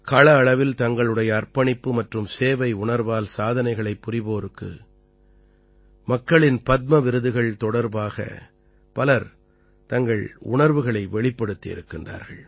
கள அளவில் தங்களுடைய அர்ப்பணிப்பு மற்றும் சேவை உணர்வால் சாதனைகளைப் புரிவோருக்கு மக்களின் பத்ம விருதுகள் தொடர்பாக பலர் தங்கள் உணர்வுகளை வெளிப்படுத்தியிருக்கின்றார்கள்